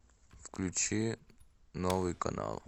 включи новый канал